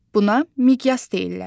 Buna miqyas deyirlər.